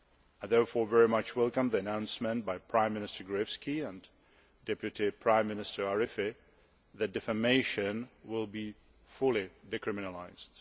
I therefore very much welcome the announcement by Prime Minister Gruevski and Deputy Prime Minister Arifi that defamation will be fully decriminalised.